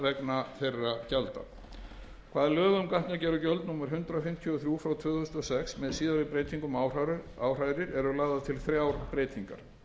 vegna þeirra gjalda hvað lög um gatnagerðargjald númer hundrað fimmtíu og þrjú tvö þúsund og sex með síðari breytingum áhrærir eru lagðar til þrjár breytingar